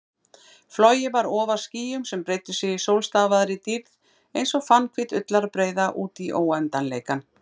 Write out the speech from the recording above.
Flogið var ofar skýjum sem breiddu sig í sólstafaðri dýrð einsog fannhvít ullarbreiða útí óendanleikann.